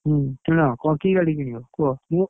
ହୁଁ କିଣ। କଣ କି ଗାଡି କିଣିବ କୁହ?